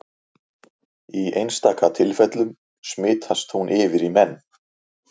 Í einstaka tilfellum smitast hún yfir í menn.